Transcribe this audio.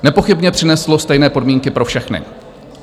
Nepochybně přineslo stejné podmínky pro všechny.